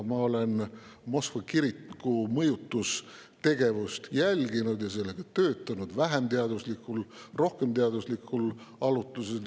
Ma olen Moskva kiriku mõjutustegevust jälginud ja sellega vähem või rohkem teaduslikul alusel.